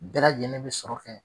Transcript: Bɛɛ lajɛlen be sɔrɔ kɛ